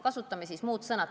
Kasutame muud sõna.